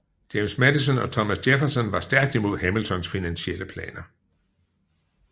James Madison og Thomas Jefferson var stærkt imod Hamiltons finansielle planer